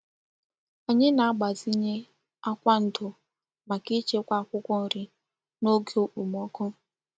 Anyị na-agbazinye akwa ndo maka ichekwa akwụkwọ nri n'oge okpomọkụ.